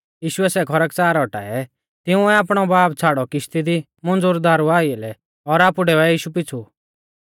यीशुऐ सै खरकच़ार औटाऐ तिंउऐ आपणौ बाब छ़ाड़ौ किश्ती दी मुंज़ुरदारु आइलै और आपु डेवै यीशु पीछ़ु